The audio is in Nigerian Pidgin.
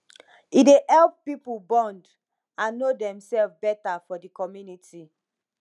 e dey help pipo bond and no demself beta for di community